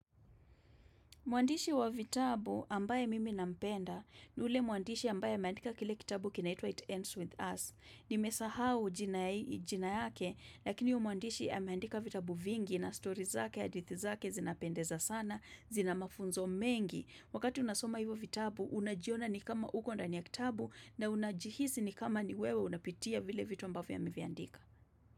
Muandishi wa vitabu ambaye mimi nampenda, ni ule muandishi ambaye ameandika kile kitabu kinaitwa it Ends with Us. Nimesahau jina yake, lakini huyo mwandishi ameandika vitabu vingi na stories zake, hadithi zake zinapendeza sana, zina mafunzo mengi. Wakati unasoma hivyo vitabu, unajiona ni kama uko ndani ya kitabu na unajihisi ni kama ni wewe unapitia vile vitu ambavyo ameviandika.